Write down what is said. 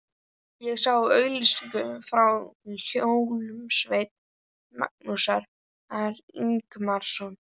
Ég sá auglýsingu frá hljómsveit Magnúsar Ingimarssonar.